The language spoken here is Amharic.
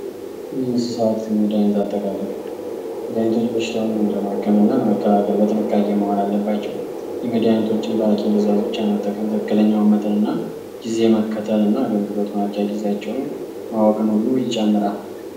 የእንስሳት ህክምና ና መድሀኒት አጠቃቀም መድሀኒቶች በትክክል ጥቅም ላይ መዋል አለባቸዉ። መድሀኒቶችን በሀኪም ትዕዛዝ ብቻ መጠቀምና የአገልግሎት ጊዚያቸዉን ማወቅ ያስፈልጋል